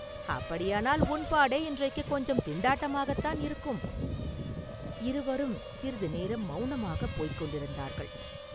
அப்படியானால் உன் பாடே இன்றைக்குக் கொஞ்சம் திண்டாட்டமாத்தான் இருக்கும்!”இருவரும் சிறிது நேரம் மௌனமாகப் போய்க் கொண்டிருந்தார்கள்.